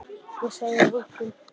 Ég segi engum.